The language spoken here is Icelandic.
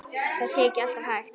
Það sé ekki alltaf hægt.